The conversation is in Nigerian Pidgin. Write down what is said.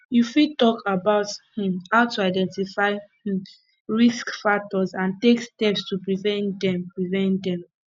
you fit talk about um how to identify um risk factors and take steps to prevent dem prevent dem